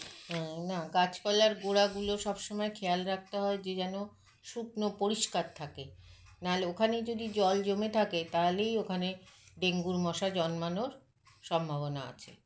হুম না গাছপালার গোঁড়া গুলো সবসময় খেয়াল রাখতে হয় যে যেন শুকনো পরিস্কার থাকে নাহলে ওখানেই যদি জল জমে থাকে তাহলেই ওখানে dengue -র মশা জন্মানোর সম্ভাবনা আছে